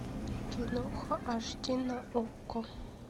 киноха аш ди на окко